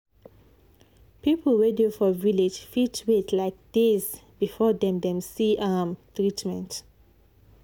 people wey dey for village fit wait like days before dem dem see um treatment.